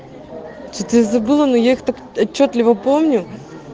ты забыла но я отчётливо помню